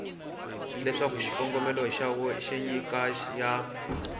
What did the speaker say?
leswaku xikombelo xa nyiko ya